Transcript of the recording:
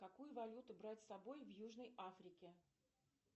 какую валюту брать с собой в южной африке